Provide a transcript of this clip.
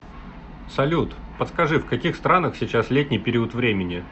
салют подскажи в каких странах сейчас летний период времени